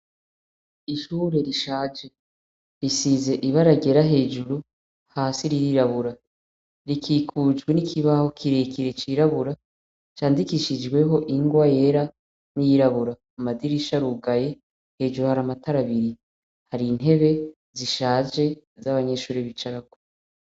Ishure rishaje risize ibaragera hejuru hasi rirabura rikikujwe n'ikibaho kirekire cirabura candikishijweho ingwa yera n'iyirabura amadirisha rugaye hejuru hari amatarabiri hari intebe zishaje z'abanyeshuri bicarako.